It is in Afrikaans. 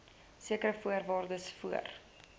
sekere voorwaardes voor